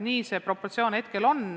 Niisugune proportsioon meil hetkel on.